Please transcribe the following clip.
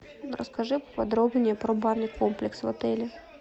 расскажи подробнее про банный комплекс в отеле